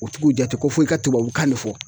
U t'u jate ko fo i ka tubabukan ne fɔ